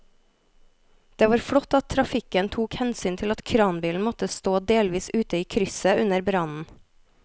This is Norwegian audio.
Det var flott at trafikken tok hensyn til at kranbilen måtte stå delvis ute i krysset under brannen.